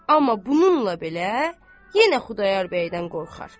Amma bununla belə, yenə Xudayar bəydən qorxar.